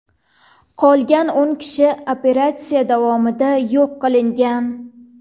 Qolgan o‘n kishi operatsiya davomida yo‘q qilingan.